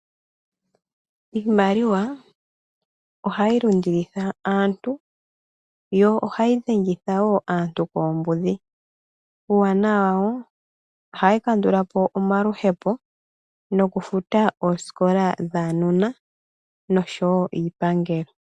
Iimaliwa ohayi lundilitha aantu yo ohayi dhengitha wo aantu koombudhi. Uuwanawa wayo ohayi kandula po omaluhepo nokufuta oosikola dhaanona noshowo iipangelo.